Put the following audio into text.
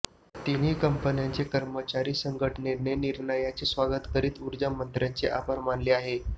तिन्ही कंपन्यांच्या कर्मचारी संघटनेने निर्णयाचे स्वागत करत ऊर्जामंत्र्यांचे आभार मानले आहे